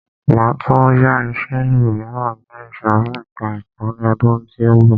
Máa tún yá iṣẹ míràn ní ìsòrí ẹka ẹ̀kọ́ ni ọdún tí ó ń bọ̀.